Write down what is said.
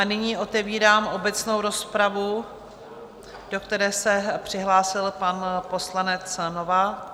A nyní otevírám obecnou rozpravu, do které se přihlásil pan poslanec Novák.